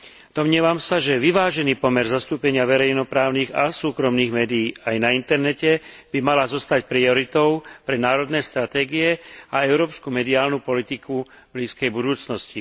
Domnievam sa, že vyvážený pomer zastúpenia verejnoprávnych a súkromných médií aj na internete by mal zostať prioritou pre národné stratégie aj európsku mediálnu politiku v blízkej budúcnosti.